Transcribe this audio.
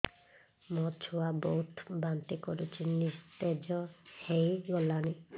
ମୋ ଛୁଆ ବହୁତ୍ ବାନ୍ତି କରୁଛି ନିସ୍ତେଜ ହେଇ ଗଲାନି